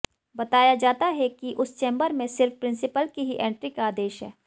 बताया जाता है कि उस चेंबर में सिर्फ प्रिंसिपल की ही एंट्री का आदेश है